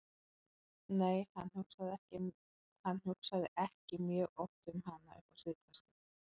Nei, hann hugsaði ekki mjög oft um hana upp á síðkastið.